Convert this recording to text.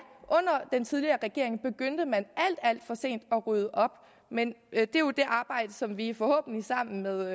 under den tidligere regering begyndte man alt alt for sent at rydde op men det er jo det arbejde som vi forhåbentlig sammen med